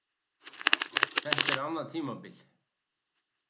Þetta er annað tímabil.